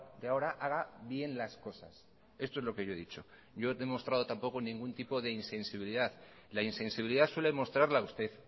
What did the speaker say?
de ahora haga bien las cosas esto es lo que yo he dicho yo no he demostrado tampoco ningún tipo de insensibilidad la insensibilidad suele mostrarla usted